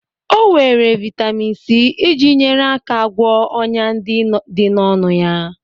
O were vitamin C iji nyere aka gwọọ ọnyá ndị dị n'ọnụ ya.